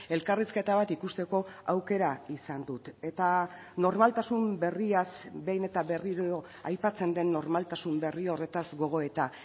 elkarrizketa bat ikusteko aukera izan dut eta normaltasun berriaz behin eta berriro aipatzen den normaltasun berri horretaz gogoeta